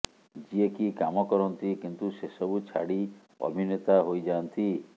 ଯିଏକି କାମ କରନ୍ତି କିନ୍ତୁ ସେ ସବୁ ଛାଡି ଅଭିନେତା ହୋଇ ଯାଆନ୍ତି